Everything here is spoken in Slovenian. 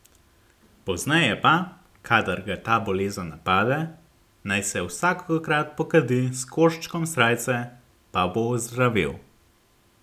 Pozneje pa, kadar ga ta bolezen napade, naj se vsakokrat pokadi s koščkom srajce, pa bo ozdravel.